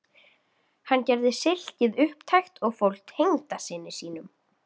Hann gerði silkið upptækt og fól tengdasyni sínum